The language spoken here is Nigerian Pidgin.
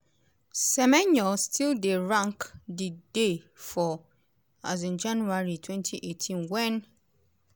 semenyo still dey rank di day for um january 2018 wen